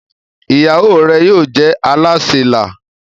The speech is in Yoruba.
ìyàwó rẹ yóò jé Alásè nla